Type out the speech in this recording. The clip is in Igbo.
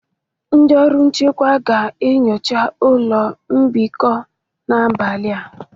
Ndị ọrụ nchekwa ga-enyocha ụlọ mbikọ n'abalị a